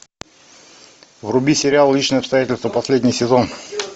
вруби сериал личные обстоятельства последний сезон